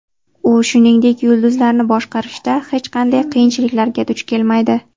U, shuningdek, yulduzlarni boshqarishda hech qanday qiyinchiliklarga duch kelmaydi.